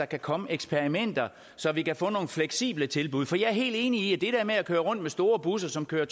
kan komme eksperimenter så vi kan få nogle fleksible tilbud for jeg er helt enig i at det der med at køre rundt med store busser som kører